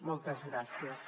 moltes gràcies